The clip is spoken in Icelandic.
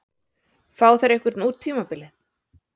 Fá þeir einhvern út tímabilið?